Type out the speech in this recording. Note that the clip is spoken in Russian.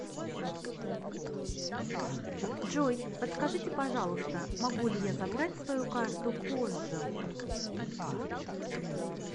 джой подскажите пожалуйста могу ли я забрать свою карту позже